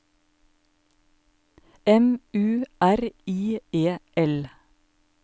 M U R I E L